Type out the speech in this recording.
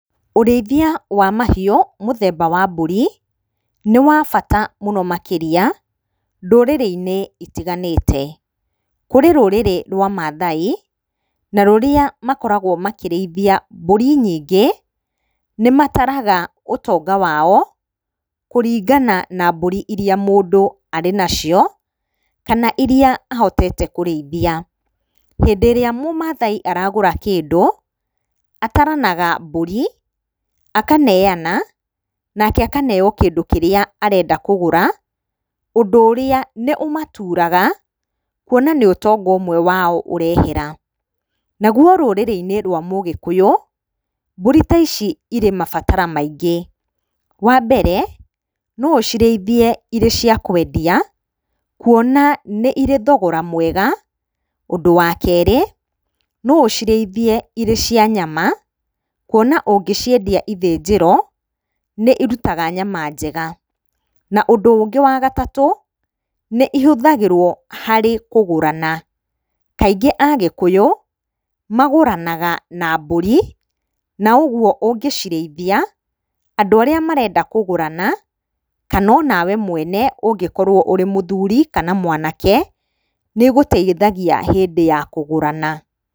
Ũrĩithia wa mahiũ mũthemba wa mbũri nĩ wa bata mũno makĩria, ndũrĩrĩ-inĩ itiganĩte. Kũrĩ rũrĩrĩ rwa Maathai, na rũrĩa makoragwo makĩrĩithia mbũri nyingĩ, nĩ mataraga ũtonga wao kũringana na mbũri iria mũndũ arĩ nacio, kana iria ahotete kũrĩithia. Hĩndĩ ĩrĩa mũmathai aragũra kĩndũ, ataranaga mbũrĩ akaneana nake akaneo kĩndũ kĩrĩa arenda kũgũra ũndũ ũrĩa nĩ ũmaturaga, kuona nĩ ũtonga ũmwe wao ũrehera. Na ruo rũrĩrĩ-inĩ rwa mũgĩkũyũ, mbũri ta ici irĩ mabataro maingĩ, wa mbere, no ũcirĩithie irĩ cia kwendia kuona nĩ irĩ thogora mwega. Ũndũ wa kerĩ, no ũcirĩithie irĩ cia nyama, kuona ũngĩciendia ithĩnjĩro, nĩ irutaga nyama njega. Na ũndũ ũngĩ wa gatatũ, nĩ ihũthagĩrwo harĩ kũgũrana, kaingĩ Agĩkũyũ, magũranaga na mbũrĩ, na ũguo ũngĩcirĩithia andu arĩa marenda kũgũrana, kana we mwene ũngĩkorwo ũrĩ mũthuri kana mwanake, nĩ ĩgũteithagia hĩndĩ ya kũgũrana.